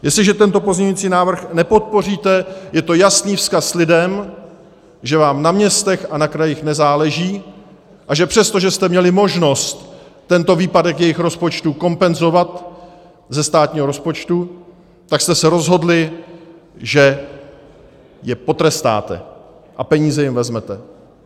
Jestliže tento pozměňující návrh nepodpoříte, je to jasný vzkaz lidem, že vám na městech a na krajích nezáleží a že přesto, že jste měli možnost tento výpadek jejich rozpočtu kompenzovat ze státního rozpočtu, tak jste se rozhodli, že je potrestáte a peníze jim vezmete.